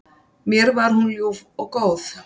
Mér var hún ljúf og góð.